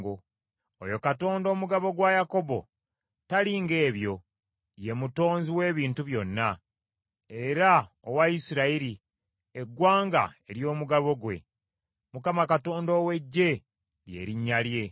Oyo Katonda Omugabo gwa Yakobo tali ng’ebyo, ye Mutonzi w’ebintu byonna, era owa Isirayiri, eggwanga ery’omugabo gwe, Mukama Katonda ow’Eggye lye linnya lye.